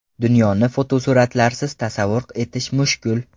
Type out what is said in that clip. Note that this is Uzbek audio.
Dunyoni fotosuratlarsiz tasavvur etish mushkul.